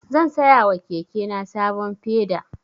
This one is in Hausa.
Zan saya wa kekena sabon peda.